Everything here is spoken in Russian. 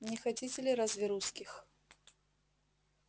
не хотите ли разве русских